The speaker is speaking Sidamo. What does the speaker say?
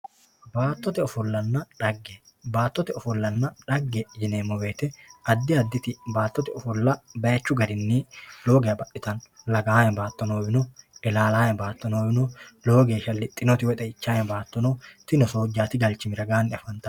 baatote ofollanna xagge baatotte ofollanna xagge yineemowoyite addi addiri baatote ofolla bayiichu garinni lowo geya baxxitanno lagaame baato noowi no ilaalaame baato noowi no lowo geesha lixinoti woy xeichaame baato no tinino soojjati galchimi ragaani afantanno.